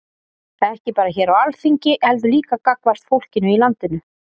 Ekki bara hér á Alþingi heldur líka gagnvart fólkinu í landinu?